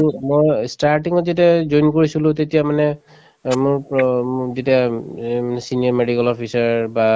তুমি মই starting ত যেতিয়া join কৰিছিলো তেতিয়া মানে অ মোৰ প্ৰ মোক যেতিয়া উম অ medical ত বা )